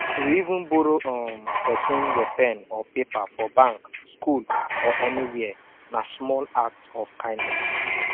to even borrow um persin your pen or paper for bank school or anywhere na small act of kindness